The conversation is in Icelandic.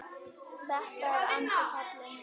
Þetta er ansi falleg mynd.